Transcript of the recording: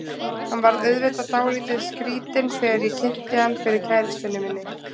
Hann varð auðvitað dálítið skrýtinn þegar ég kynnti hann fyrir kærustunni minni.